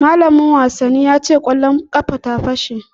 Malamin wasannin ya ce kwallon ƙafa ta fashe